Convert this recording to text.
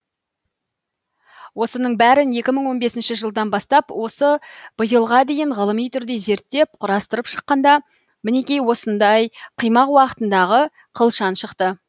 осының бәрін екі мың он бесінші жылдан бастап осы биылға дейін ғылыми түрде зерттеп құрастырып шыққанда мінекей осындай қимақ уақытындағы қылшан шықты